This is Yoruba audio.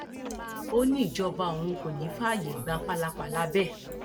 ó ní ìjọba òun kò ní í fààyè gbà pálapàla bẹẹ